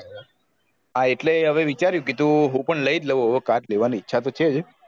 હા એટલે હવે વિચાર્એયું કીધું હું પણ લાયી લાવ car લેવા ની ઈચ્છા તો છે જ